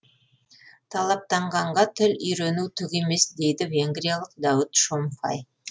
талаптанғанға тіл үйрену түк емес дейді венгриялық дәуіт шомфай